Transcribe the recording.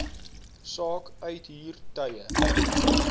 saak uithuur tye